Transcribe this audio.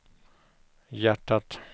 hjärtat